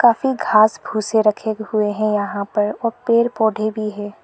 काफी घास भूसे रखे हुए हैं यहां पर और पेड़ पौधे भी है।